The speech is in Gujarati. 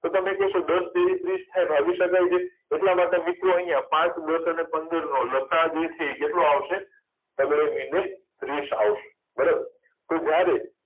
તો તમે કહેશો દસ તારી ત્રીસ થાય ભાગી શકાય છે એટલા માટે મૂકવું અહીંયા પાંચ પાંચ દસ અને પંદરનો લસાઅ જે છે એ કેટલો આવશે ત્રીસ આવશે બરાબર તો જ્યારે